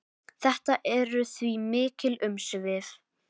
Þetta eru því mikil umsvif.